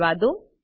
રહેવાદો